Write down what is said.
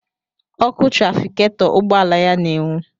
Ọkụ trafiketọ ugbọala ya na-enwu.